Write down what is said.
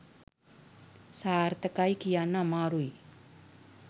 සාර්ථකයි කියන්න අමාරැයි.